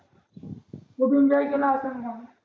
कुठून जाईल